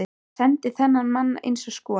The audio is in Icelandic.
Ég sendi á þennan mann eins og skot.